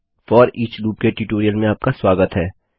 foreach लूपके tutorial में आपका स्वागत है